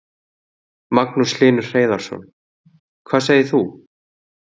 Magnús Hlynur Hreiðarsson: Hvað segir þú?